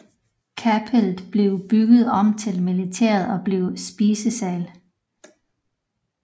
Kapellet blev bygget om til militæret og blev spisesal